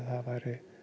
væri